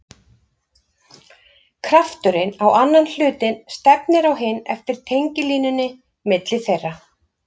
Krafturinn á annan hlutinn stefnir á hinn eftir tengilínunni milli þeirra.